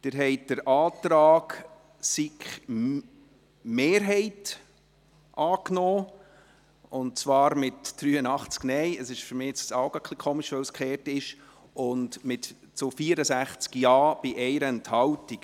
Sie haben den Antrag SiK-Mehrheit und Regierung angenommen, mit 83 Nein- gegen 64 Ja-Stimmen bei 1 Enthaltung.